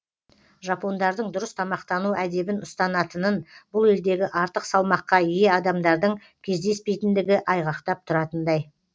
жапондардың дұрыс тамақтану әдебін ұстанатынын бұл елдегі артық салмаққа ие адамдардың кездеспейтіндігі айғақтап тұратындай